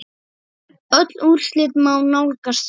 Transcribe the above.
Öll úrslit má nálgast hérna.